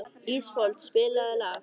Ísfold, spilaðu lag.